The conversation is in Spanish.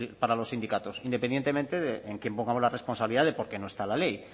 para los sindicatos independientemente de en quién pongamos la responsabilidad de por qué no está en la ley